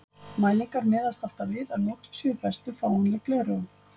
Mælingar miðast alltaf við að notuð séu bestu fáanleg gleraugu.